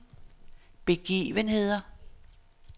begivenheder